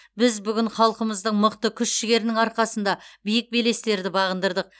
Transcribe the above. біз бүкіл халқымыздың мықты күш жігерінің арқасында биік белестерді бағындырдық